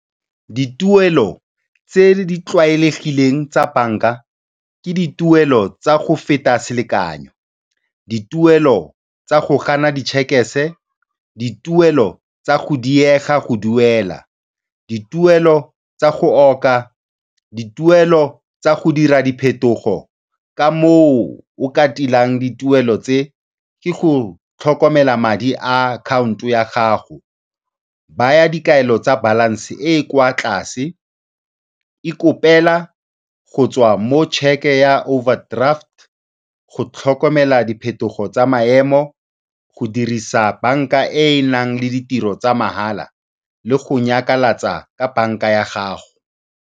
Dituelo tse di tlwaelegileng tsa banka ke dituelo tsa go feta selekanyo, dituelo tsa go gana di dituelo tsa go diega go duela, dituelo tsa go oka, dituelo tsa go dira diphetogo. Ka moo o ka tilang dituelo tse, ke go tlhokomela madi a akhaonto ya gago. Baya dikabelo tsa balanced e e kwa tlase e kopela go tswa mo cheque ya overdraft, go tlhokomela diphetogo tsa maemo, go dirisa banka e e nang le ditiro tsa mahala le go nyakalatsa ka banka ya gago.